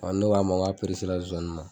Ɔn ne ko a ma, n ko a zonzanniw ma.